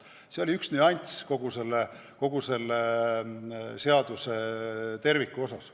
See oli üks ja ainukene nüanss kogu selle seaduse juures.